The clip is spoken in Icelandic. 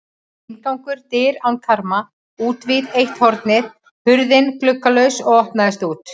Inngangur: dyr án karma útvið eitt hornið, hurðin gluggalaus og opnaðist út.